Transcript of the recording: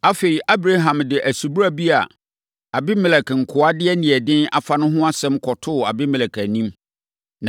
Afei, Abraham de subura bi a Abimelek nkoa de aniɛden afa no ho asɛm kɔtoo Abimelek anim.